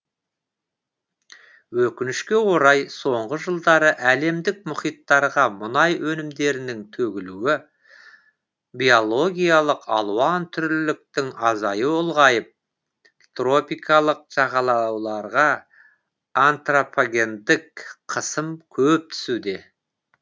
өкінішке орай соңғы жылдары әлемдік мұхиттарға мұнай өнімдерінің төгілуі биологиялық алуан түрліліктің азаюы ұлғайып тропикалық жағалауларга антропогендік қысым көп түсуде